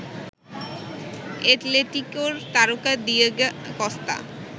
এটলেটিকোর তারকা Diego Costa